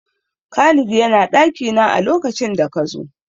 Khalid ya na ɗakina a lokacin da ka zo.